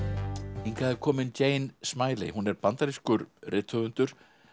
hingað er komin Jane Smiley hún er bandarískur rithöfundur